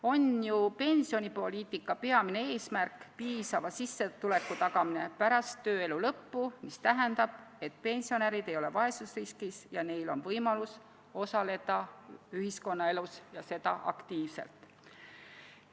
On ju pensionipoliitika peamine eesmärk tagada piisav sissetulek pärast tööelu lõppu, mis tähendab, et pensionärid ei ole vaesusriskis ning neil on võimalus osaleda ühiskonnaelus, ja seda aktiivselt.